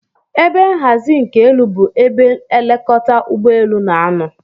Ebe nhazi nke elu bu ebe elekọta ụgbọ elu n'anọ